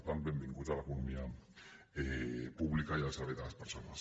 per tant benvinguts a l’economia pública i al servei de les persones